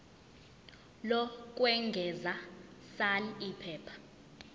lokwengeza sal iphepha